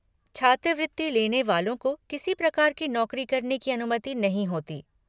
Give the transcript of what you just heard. छात्रवृति लेने वालों को किसी प्रकार की नौकरी करने की अनुमति नहीं होती।